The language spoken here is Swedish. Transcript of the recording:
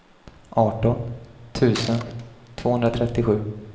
arton tusen tvåhundratrettiosju